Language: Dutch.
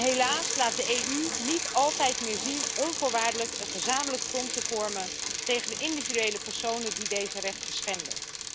Helaas laat de EU niet altijd meer zien onvoorwaardelijk een gezamenlijk front te vormen tegen de individuele personen die deze rechten schenden.